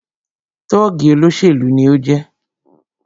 Tọ́ọ̀gì olóṣèlú ni o jẹ́